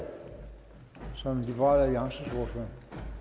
meget optaget